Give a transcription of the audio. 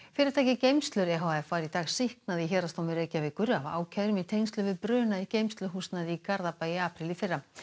fyrirtækið geymslur e h f var í dag sýknað í Héraðsdómi Reykjavíkur af ákærum í tengslum við bruna í geymsluhúsnæði í Garðabæ í apríl í fyrra